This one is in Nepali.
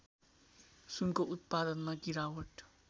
सुनको उत्पादनमा गिरावट